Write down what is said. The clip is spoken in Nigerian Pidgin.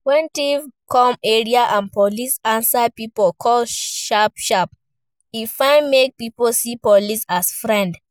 When thief come area and police answer pipo call sharp sharp, e fit make pipo see police as friend